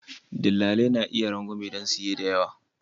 Dillali na iya bayar da rangwame don siye da yawa.